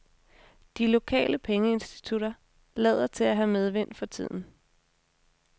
De lokale pengeinstitutter lader til at have medvind for tiden.